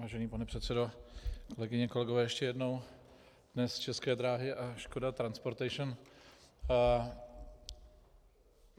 Vážený pane předsedo, kolegyně, kolegové, ještě jednou dnes České dráhy a Škoda Transportation.